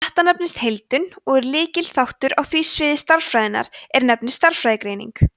þetta nefnist heildun og er lykilþáttur á því sviði stærðfræðinnar er nefnist stærðfræðigreining